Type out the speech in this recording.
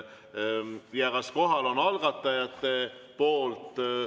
Kas kohal on algatajate pool?